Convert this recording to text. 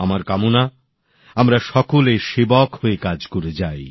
আমার চাই আমরা সকলে সেবক হয়ে কাজ করে যাই